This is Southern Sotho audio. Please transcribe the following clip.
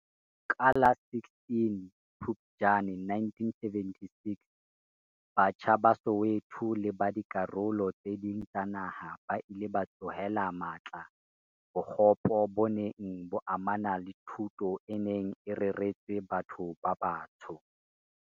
Ka la 16 Phupjane 1976, batjha ba Soweto le ba dikarolo tse ding tsa naha ba ile ba tsohela matla bo kgopo bo neng bo amana le thuto e neng ereretswe batho ba batsho.